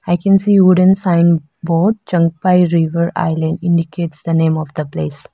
I can see wooden sign board zhangpaI river island indicates the name of the place.